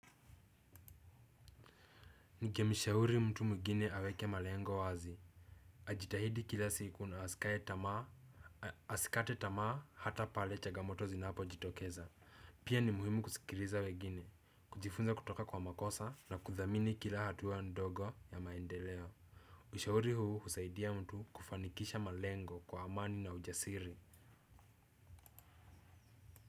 Ningemshauri mtu mwingine aweke malengo wazi. Ajitahidi kila siku na asikate tamaa hata pale chagamoto zinapojitokeza. Pia ni muhimu kusikiriza wegine. Kujifunza kutoka kwa makosa na kudhamini kila hatua ndogo ya maendeleo. Ushauri huu husaidia mtu kufanikisha malengo kwa amani na ujasiri.